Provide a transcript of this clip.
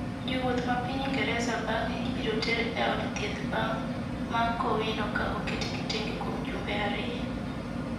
jowuoth ma piny Ingreza bang'e ibiro ter e od thieth ma Kowino ka oketgi tenge kuom jumbe ariyo